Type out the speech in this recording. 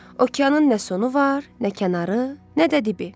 Okeanın nə sonu var, nə kənarı, nə də dibi.